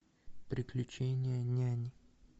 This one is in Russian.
приключения няни